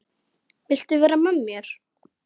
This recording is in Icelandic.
Viltu vera með mér?